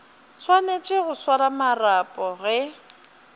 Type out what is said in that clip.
swanetše go swara marapo ge